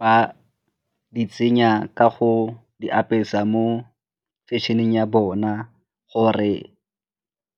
Ba di tsenya ka go di apesa mo fashion-eng ya bona gore